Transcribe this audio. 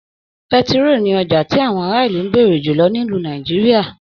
Pẹ̀tiroo ní ọjà ti àwọn ara ilú n béèrè julọ nílu Nàìjíríà.